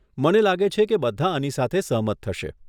મને લાગે છે કે બધાં આની સાથે સહમત થશે.